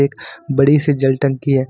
बड़ी सी जल टंकी है।